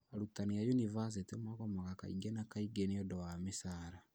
Arutani a yunibathĩtĩ nĩ magomaga kaingĩ na kaingĩ niũndũ wa mĩcara